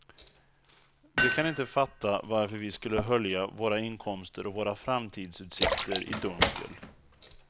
De kan inte fatta varför vi skulle hölja våra inkomster och våra framtidsutsikter i dunkel.